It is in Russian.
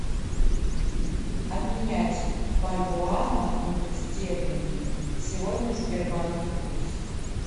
обменять бальбоа на фунтов стерлинги сегодня в сбербанке курс